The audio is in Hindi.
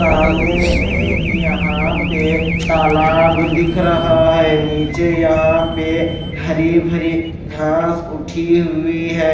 सामने एक यहां पे तालाब दिख रहा है नीचे यहां पे हरी भरी घास उठी हुई है।